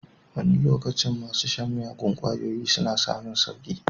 Wani lokacin masu shan miyagun kwayoyi suna samun sauki.